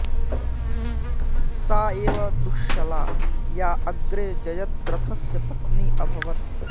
सा एव दुश्शला या अग्रे जयद्रथस्य पत्नी अभवत्